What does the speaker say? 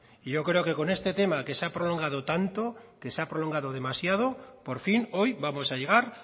y yo creo que con este tema que se ha prolongado tanto que se ha prolongado demasiado por fin hoy vamos a llegar